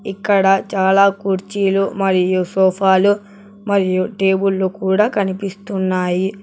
ఇక్కడ చాలా కుర్చీలు మరియు సోఫా లు మరియు టేబుల్ లు కూడా కనిపిస్తున్నాయి.